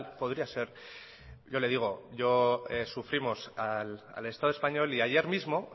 podría ser yo le digo sufrimos al estado español y ayer mismo